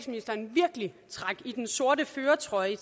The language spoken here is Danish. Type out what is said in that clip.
de trak i den sorte førertrøje